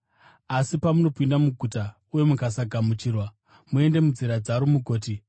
Asi pamunopinda muguta uye mukasagamuchirwa, muende munzira dzaro mugoti,